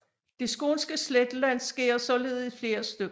Det skånske sletteland skæres således i flere stykker